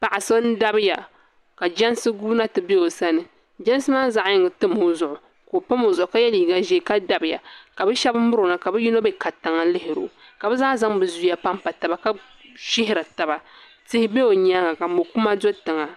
Paɣa so n dabiya ka jɛnsi guuna ti bɛ o sani jɛnsi maa zaɣyini tam o zuɣu ka o pam o zuɣu ka yɛ liiga ʒiɛ ka dabiya ka bi shab miro na ka bi yino bɛ katiŋa lihiro ka bi zaa zaŋ bi zuya panpa taba ka shihiri taba tihi bɛ o nyaanga mokuma do tiŋa